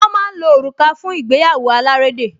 Wọ́n máa ń lo òrùka fún ìgbéyàwó alárédè